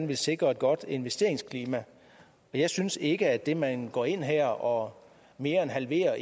ville sikre et godt investeringsklima jeg synes ikke at det at man går ind her og mere end halverer